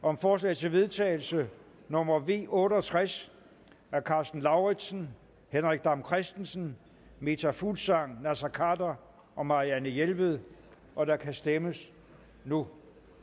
om forslag til vedtagelse nummer v otte og tres af karsten lauritzen henrik dam kristensen meta fuglsang naser khader og marianne jelved og der kan stemmes nu